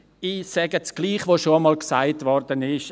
Ich sage dasselbe, das bereits gesagt wurdet: